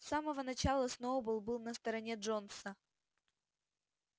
с самого начала сноуболл был на стороне джонса